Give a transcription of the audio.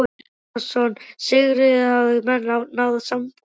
Telma Tómasson: Sigríður, hafa menn náð samkomulagi?